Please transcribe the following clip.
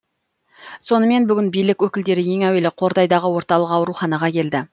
сонымен бүгін билік өкілдері ең әуелі қордайдагы орталык ауруханага келді